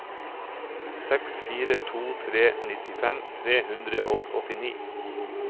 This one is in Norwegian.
seks fire to tre nittifem tre hundre og åttini